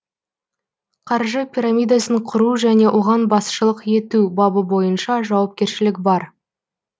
қаржы пирамидасын құру және оған басшылық ету бабы бойынша жауапкершілік бар